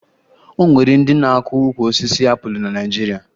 O nwere ndị na-akụ ukwu osisi apụlụ na Naịjirịa